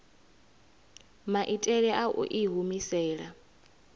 maitele a u i humisela